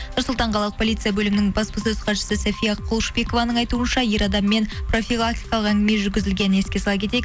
нұр сұлтан қалалық полицей бөлімінің баспасөз хатшысы сафия құлышбекованың айтуынша ер адаммен профилактикалық әңгіме жүргізілгенін еске сала кетейік